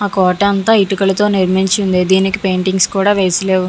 ఆ కోట అంతా ఇటుకులతో నిర్మించింది. దీనికి పెయింటింగ్స్ కూడా వేసి లేవు.